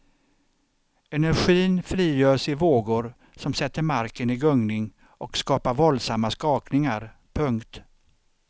Energin frigörs i vågor som sätter marken i gungning och skapar våldsamma skakningar. punkt